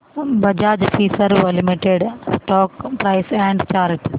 Bajaj Finserv limited stock price and chart